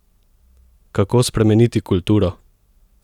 Kako spremeniti kulturo?